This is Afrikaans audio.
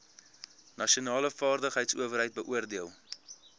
nasionale vaardigheidsowerheid beoordeel